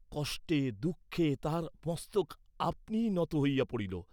কষ্টে দুঃখে তাহার মস্তক আপনিই নত হইয়া পড়িল।